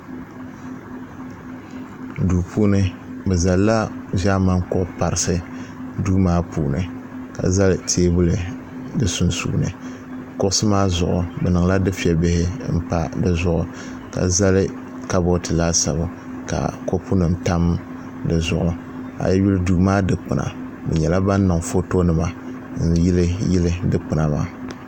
Duu puuni bɛ zalila ʒɛmani kuɣ' parisi duu maa puuni ka zali teebuli di sunsuuni kuɣisi maa zuɣu bɛ niŋla dufɛ' bihi m-pa di zuɣu ka zali kabɔɔti laasabu ka kɔpunima tam di zuɣu a yuli duu maa dikpina bɛ nyɛla ban niŋ fotonima n-yiliyili dikpina maa